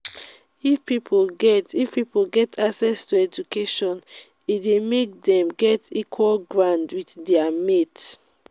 if pipo get if pipo get access to education e de make dem get equal ground with their mates